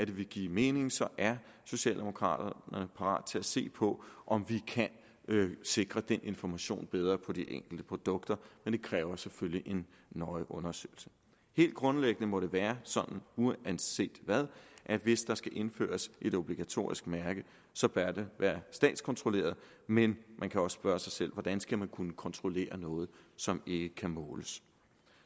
vil give mening så er socialdemokraterne parate til at se på om vi kan sikre den information bedre på de enkelte produkter men det kræver selvfølgelig en nøje undersøgelse helt grundlæggende må det være sådan uanset hvad at hvis der skal indføres et obligatorisk mærke så bør det være statskontrolleret men man kan også spørge sig selv hvordan man skal kunne kontrollere noget som ikke kan måles